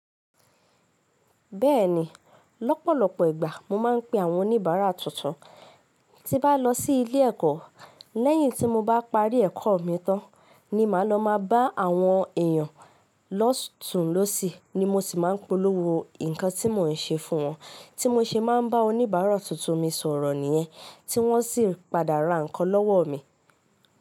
Bẹ́ẹ̀ni lọ́pọ̀lọpọ̀ ìgbà mo máa ń pe àwọn oníbàárà tuntun, tí bá lọ sí ilé ẹ̀kọ́ lẹ́yìn tí mo bá parí ẹ̀kọ́ mi tán ni màá lọ máa bá àwọn èèyàn lóṣùn lọ́sì ni mo sì máa ń polówó nǹkan tí mò ń ṣe fún wọn, tí mo ṣe máa ń bá oníbàárà tuntun mi sọ̀rọ̀ nìyẹn, tí wọ́n sì padà ra nǹkan lọ́wọ́ mi.